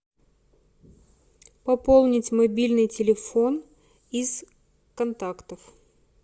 пополнить мобильный телефон из контактов